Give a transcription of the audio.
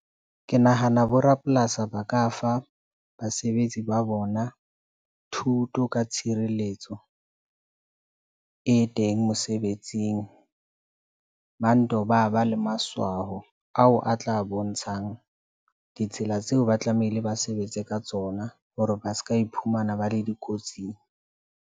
Ke nahana bo rapolasi ba ka fa basebetsi ba bona thuto ka tshireletso e teng mosebetsing. Ba nto ba, ba le matshwao ao a tla bontshang ditsela tseo. Ba tlamehile ba sebetse ka tsona hore ba ska iphumana ba le dikotsing.